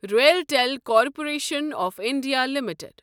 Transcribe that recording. RailTel corporation of India limited